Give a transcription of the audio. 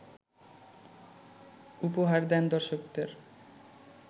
উপহার দেন দর্শকদের